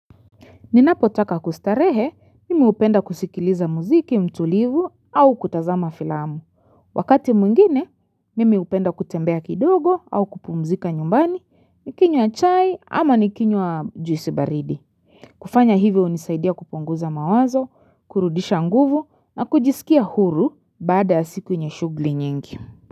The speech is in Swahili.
Ninapo taka kustarehe, mimi upenda kusikiliza muziki, mtulivu, au kutazama filamu. Wakati mwingine, mimi upenda kutembea kidogo au kupumzika nyumbani, nikinywa chai ama nikinywa juisi baridi. Kufanya hivyo unisaidia kupunguza mawazo, kurudisha nguvu na kujisikia huru baada ya siku yenye shugli nyingi.